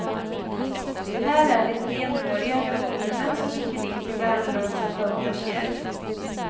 Här är det renhåriga revolvermän som rycker in till värnlösa bönders hjälp.